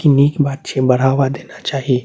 इ निक बात छीये बढ़ावा देना चाही।